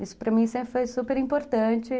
Isso para mim sempre foi super importante.